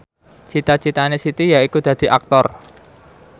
cita citane Siti yaiku dadi Aktor